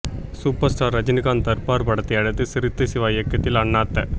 super star Rajinikanth Darbar படத்தை அடுத்து சிறுத்தை சிவா இயக்கத்தில் அண்ணாத்த